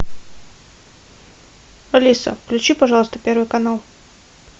алиса включи пожалуйста первый канал